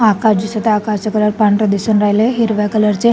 आकाश दिसत आहे आकाशचा कलर पांढरा दिसून राहीलाय हिरव्या कलर चे--